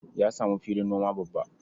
Ya samu filin noma babba.